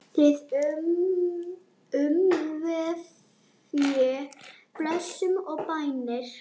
Þig umvefji blessun og bænir.